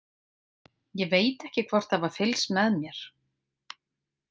Ég veit ekki hvort það var fylgst með mér.